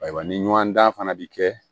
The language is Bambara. Ayiwa ni ɲɔndan fana bi kɛ